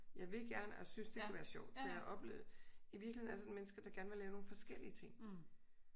Jeg vil gerne og jeg synes det kunne være sjovt for jeg har oplevet i virkeligheden alle mennesker der gerne vil lave nogle forskellige ting